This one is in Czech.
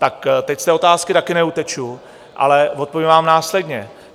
Tak teď z té otázky taky neuteču, ale odpovím vám následně.